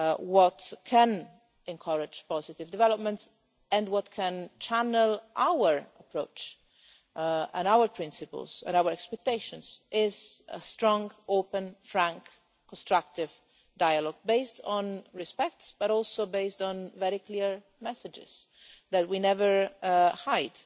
What can encourage positive development and channel our approach, our principles and our expectations is a strong, open, frank and constructive dialogue based not only on respect, but also on very clear messages that we never hide.